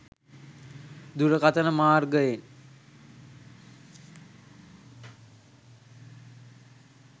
දුරකථන මාර්ගයෙන්